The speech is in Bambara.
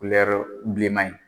bilenman in